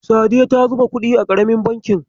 Sadiya ta zuba kuɗi a ƙaramin bankin.